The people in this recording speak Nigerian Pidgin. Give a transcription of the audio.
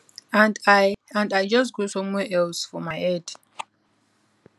and i and i just go somewhere else for my head